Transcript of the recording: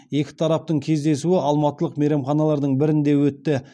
екі тараптың кездесуі алматылық мейрамханалардың бірінде өтті